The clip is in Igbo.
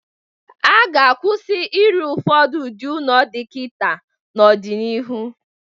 A ga-akwụsa ịrụ ụfọdụ ụdị ụnọ dị kịta n'ọ dị n'iru.